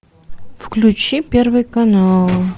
включи первый канал